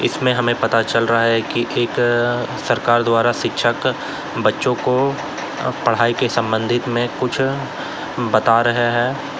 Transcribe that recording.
इसमें हमें पता चल रहा है कि एक अअ सरकार द्वारा शिक्षक बच्चों को पढ़ाई के संबंध में कुछ बता रहे हैं।